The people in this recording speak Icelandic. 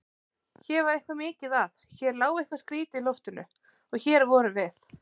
Hér var eitthvað mikið að, hér lá eitthvað skrýtið í loftinu- og hér vorum við.